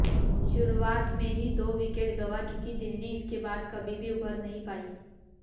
शुरुआत में ही दो विकेट गंवा चुकी दिल्ली इसके बाद कभी भी उबर नहीं पाई